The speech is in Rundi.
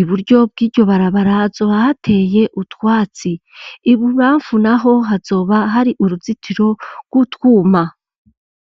iburyo bwiryo barabara zo ahateye utwatsi ibu bafu naho hazoba hari uruzitiro rw'utwuma.